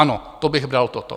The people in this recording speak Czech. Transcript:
Ano, to bych bral, toto.